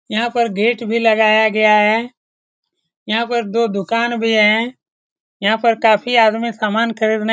यहां पर गेट भी लगाया गया है यहां पर दो दुकान भी है यहां पर काफी आदमी सामान खरीदने --